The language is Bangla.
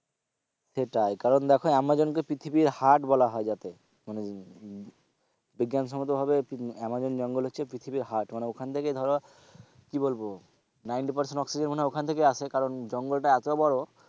সেটাই কারণ দেখো আমাজনকে পৃথিবীর heart বলা হয় যাতে উম বিজ্ঞানসম্মত ভাবে আমাজন জঙ্গল হচ্ছে পৃথিবীর heart মানে ওখান থেকেই ধরো কি বলবো ninety percent oxygen মনে হয় ওখান থেকেই আসে কারণ জঙ্গলটা এতো বড়ো,